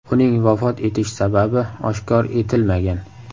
Uning vafot etish sababi oshkor etilmagan.